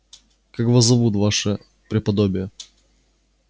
как вас зовут ваше преподобие